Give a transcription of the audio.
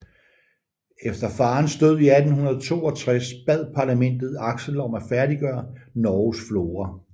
Efter farens død i 1862 bad Parlamentet Axel om at færdiggøre Norges Flora